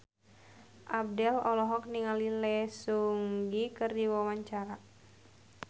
Abdel olohok ningali Lee Seung Gi keur diwawancara